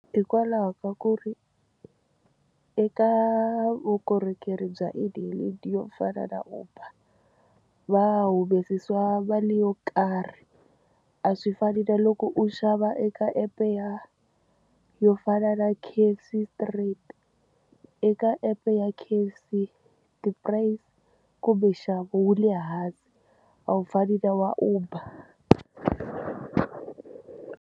Hikwalaho ka ku ri eka vukorhokeri bya e-hailing byo fana na uber va humesiwa mali yo karhi a swi fani na loko u xava eka epe ya yo fana na K_F_C straight eka app ya K_F_C ti-price kumbe nxavo wu le hansi a wu fani na wa uber.